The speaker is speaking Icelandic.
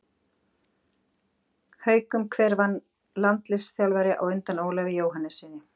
Haukum Hver var landsliðsþjálfari á undan Ólafi Jóhannessyni?